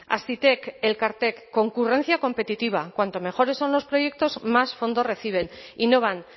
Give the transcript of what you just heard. hazitek elkartek concurrencia competitiva cuanto mejores son los proyectos más fondos reciben y no van